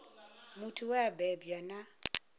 muthu we a bebwa na